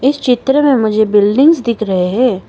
इस चित्र में मुझे बिल्डिंगस दिख रहे हैं।